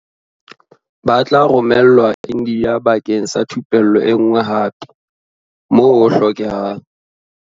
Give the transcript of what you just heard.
Ba tla romelwa India bakeng sa thupello enngwe hape, moo ho hlokehang.